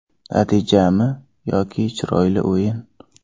Natijami yoki chiroyli o‘yin?